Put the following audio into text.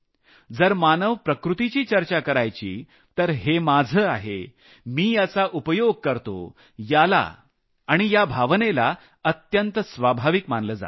जर मानवी प्रकृतीची चर्चा करायची तर हे माझं आहे मी याचा उपयोग करतो याला आणि या भावनेला अत्यंत स्वाभाविक मानलं जातं